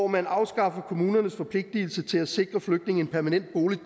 man afskaffer kommunernes forpligtelse til at sikre flygtninge en permanent bolig